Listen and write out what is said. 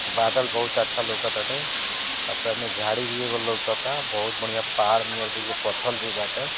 बादल बहुत अच्छा लउकत ताटे झाड़ी भी एगो लउकता बहुत बढ़िया पहाड़ में एक दुगो पत्थर भी बाटे।